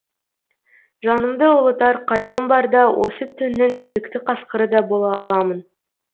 жанымды ұлытар қайғым барда осы түннің кекті қасқыры да бола аламын